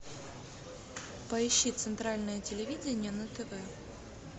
поищи центральное телевидение на тв